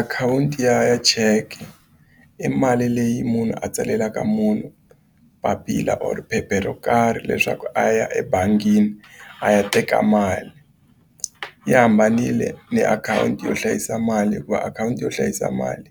Akhawunti ya cheke i mali leyi munhu a tsalelaka munhu papila or phepha ro karhi leswaku a ya ebangini a ya teka mali yi hambanile ni akhawunti yo hlayisa mali hikuva akhawunti yo hlayisa mali